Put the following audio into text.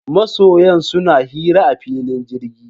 Masoyan suna hira a filin jirgi.